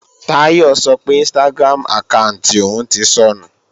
Táyọ̀ sọ pé Instagram àkáànti òun ti sọnù